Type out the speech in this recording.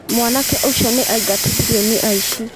Mwanake ũcio nĩ aingatithirio nĩ aici.